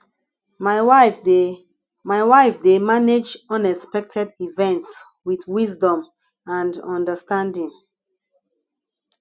my wife dey my wife dey manage unexpected events with wisdom and understanding